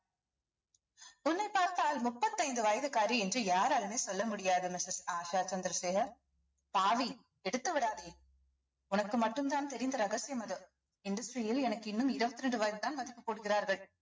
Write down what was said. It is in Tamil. உன்னை பார்த்தால் முப்பத்தைந்து வயசுக்காரி என்று யாராலையுமே சொல்ல முடியாது missus ஆஷா சந்திரசேகர் பாவி கெடுத்து விடாதே உனக்கு மட்டும்தான் தெரிந்த ரகசியம் அது industry யில் எனக்கு இன்னும் இருவத்தி இரண்டு வயதுதான் மதிப்பு போடுகிறார்கள்